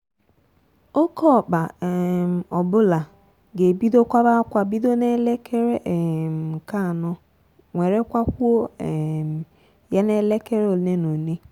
oke okpa um ọbula ga-ebido kwaba-akwa bido n'elekere um nke anọ nwere kwakwo um ye n'elekere one n'one.